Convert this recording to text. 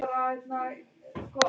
Stórum og smáum.